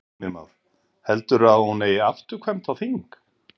Heimir Már: Heldurðu að hún eigi afturkvæmt á þing?